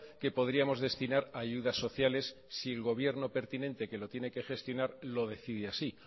que podríamos destinar a ayudas sociales si el gobierno pertinente que lo tiene que gestionar lo decide así